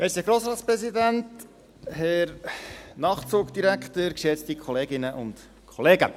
Herr Grossratspräsident, Herr Nachtzugdirektor, geschätzte Kolleginnen und Kollegen.